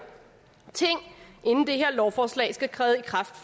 lovforslag skal træde i kraft